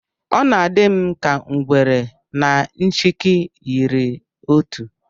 Ọ dị m ka na ngwere na nchịkị yiri otu